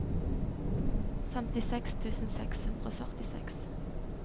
femtiseks tusen seks hundre og førtiseks